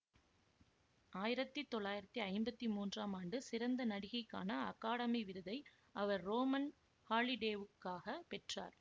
ஆயிரத்தி தொள்ளாயிரத்தி ஐம்பத்தி மூன்றாம் ஆண்டு சிறந்த நடிகைக்கான அகாடமி விருதை அவர் ரோமன் ஹாலிடேவுக்காக பெற்றார்